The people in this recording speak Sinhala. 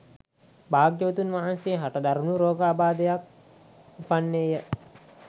භාග්‍යවතුන් වහන්සේ හට දරුණු රෝගාබාධයක් උපන්නේ ය